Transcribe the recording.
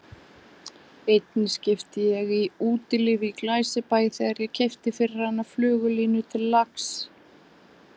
Einni skipti ég í Útilífi í Glæsibæ þegar ég keypti fyrir hana flugulínu til lax